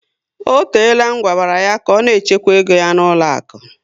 O teela ngwabara ya ka ọ na-echekwa égo ya n'ụlọaku